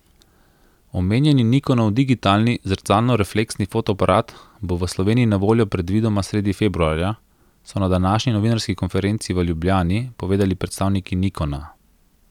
Omenjeni Nikonov digitalni zrcalnorefleksni fotoaparat bo v Sloveniji na voljo predvidoma sredi februarja, so na današnji novinarski konferenci v Ljubljani povedali predstavniki Nikona.